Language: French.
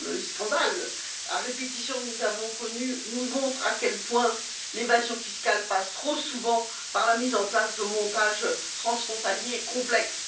scandales à répétition que nous avons connus nous montrent à quel point l'évasion fiscale passe trop souvent par la mise en place de montages transfrontaliers complexes.